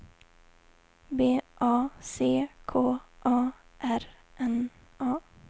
B A C K A R N A